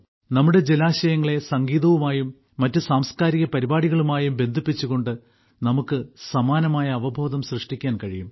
നമ്മുടെ ജലാശയങ്ങളെ സംഗീതവുമായും മറ്റ് സാംസ്കാരിക പരിപാടികളുമായും ബന്ധിപ്പിച്ചുകൊണ്ട് നമുക്ക് സമാനമായ അവബോധം സൃഷ്ടിക്കാൻ കഴിയും